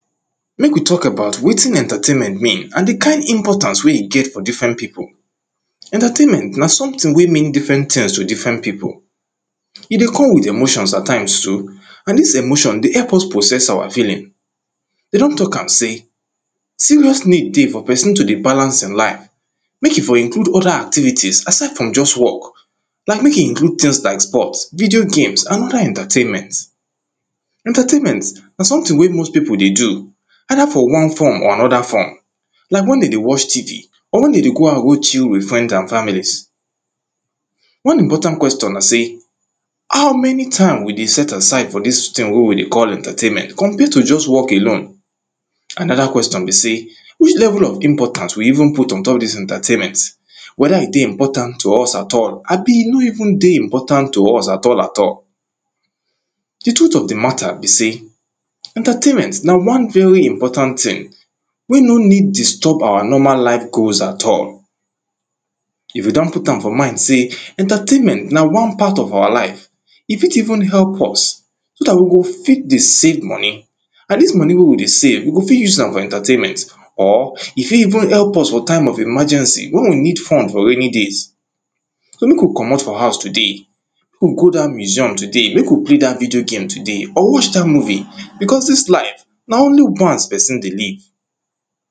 Make we talk about wetin entertainment mean and the kind importance wey e get for different people. Entertainment na something wey mean different things to different people E dey come with emotions at times too, and this emotion dey help us process our feeling. Dem don talk am sey, serious need dey for person to dey balance im life, make im for include other activities aside from just work. like make im include things like sports, video games and other entertainment. Entertinment na something wey most people dey do, either for one form or another form, like when dem dey watch tv, or when dem dey go out go chill with friend and families. one important question na sey, How many time we dey set aside for this thing wey we dey call entertainment compared to just work alone? Another question be sey, which level of importance we even put ontop this entertainment? whether e dey important to us at all abi e no even dey important to us at all at all. The truth of the matter be sey, entertainment na one very important thing, wey no need disturb our normal life goals at all. If you don put am for mind sey entertainment na one part of our life, e fit even help us, so that we go fit dey save money and this money wey we dey save, we go fit use am for entertainment, or e fit even help us for time of emergency when we need fund for raining days. So make we comot for house today make we go that museum today, make you play that video game today or watch that movie because this life, na only once person dey live.